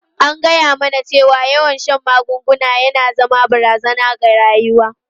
An gaya mana cewa yawan shan magunguna na iya zama barazana ga rayuwa.